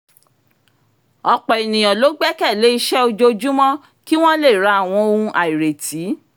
ọ̀pọ̀ ènìyàn ló gbẹ́kẹ̀ lé iṣẹ́ ojoojúmọ́ kí wọ́n lè ra àwọn ohun àìrètí